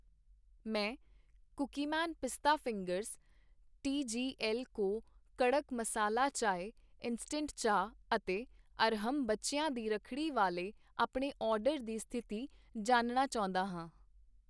ਮੈਂ Cookieman pista fingers, TGL co kadak masala chai instant ਚਾਹ ਅਤੇ ਅਰਹਮ, ਬੱਚਿਆਂ ਦੀ ਰੱਖੜੀ ਵਾਲੇ ਆਪਣੇ ਆਰਡਰ ਦੀ ਸਥਿਤੀ ਜਾਣਨਾ ਚਾਹੁੰਦਾ ਹਾਂ।